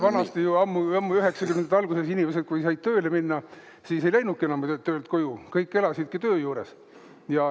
Vanasti, ammu-ammu 90-ndate alguses inimesed, kui said tööle minna, ei läinudki enam töölt koju, kõik elasidki töö juures.